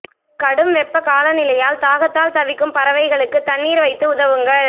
கடும் வெப்ப காலநிலையால் தாகத்தால் தவிக்கும் பறவைகளுக்கு தண்ணீர் வைத்து உதவுங்கள்